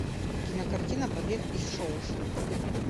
кинокартина побег из шоушенка